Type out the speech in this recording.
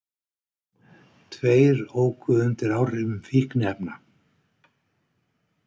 Tveir óku undir áhrifum fíkniefna